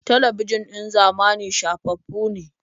Talabijin ɗin zamani shafaffu ne.